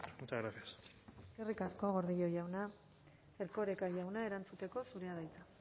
muchas gracias eskerrik asko gordillo jauna erkoreka jauna erantzuteko zurea da hitza